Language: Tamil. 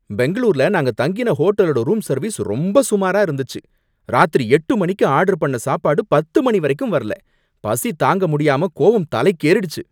பெங்களூர்ல நாங்க தங்கின ஹோட்டலோட ரூம் சர்விஸ் ரொம்ப சுமாரா இருந்துச்சு. ராத்திரி எட்டு மணிக்கு ஆர்டர் பண்ண சாப்பாடு பத்து மணி வரைக்கும் வரல! பசி தாங்க முடியாம கோவம் தலைக்கு ஏறிடுச்சு.